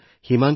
হয় হয় মহোদয়